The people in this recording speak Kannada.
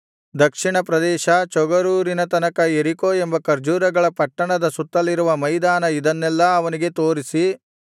ದಕ್ಷಿಣಪ್ರದೇಶ ಚೋಗರೂರಿನ ತನಕ ಯೆರಿಕೋ ಎಂಬ ಖರ್ಜೂರಗಳ ಪಟ್ಟಣದ ಸುತ್ತಲಿರುವ ಮೈದಾನ ಇದನ್ನೆಲ್ಲಾ ಅವನಿಗೆ ತೋರಿಸಿ